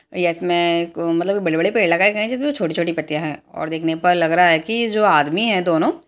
इसमे उम मतलब बड़े बड़े पेड़ लगाए गए हैं जिसमे छोटी छोटी पत्तियां हैं और देखने पर लग रहा है की जो आदमी हैं दोनों --